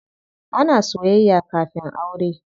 Ana soyayya kafin aure.